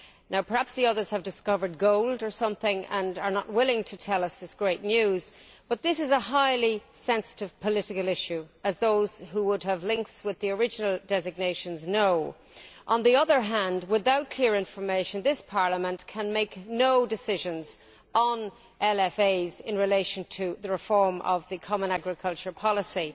Now, perhaps the others have discovered gold or something and are not willing to tell us this great news, but this is a highly sensitive political issue, as those who have links with the original designations know. On the other hand, without clear information, this Parliament can make no decisions on LFAs in relation to the reform of the Common Agricultural Policy.